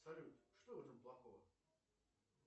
салют что в этом плохого